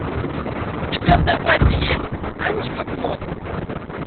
у тебя в запасе есть аничков мост